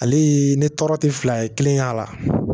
Ale ye ne tɔɔrɔ tɛ fila ye kelen y'a la